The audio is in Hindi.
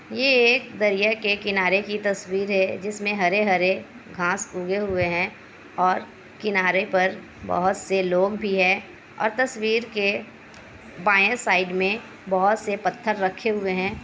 यह एक दरिया के किनारे की तस्वीर है जिसमे हरे-हरे घांस उगे हुए हैं और किनारे पर बहुत से लोग भी हैं। और तस्वीर के बाएं साइड में बहुत से पत्थर रखे हुए हैं।